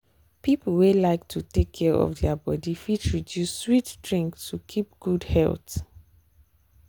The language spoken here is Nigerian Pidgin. people wey like to take care of their body fit reduce sweet drink to keep good health.